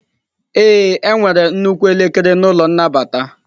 Ee, enwere nnukwu elekere n'ụlọ nnabata.